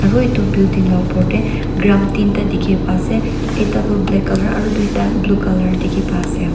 Aro etu building la upor tey tram ten ta dekhe bai ase ek da tu black colour tuda blue colour teki bai ase.